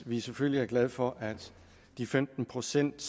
vi selvfølgelig er glade for at de femten procent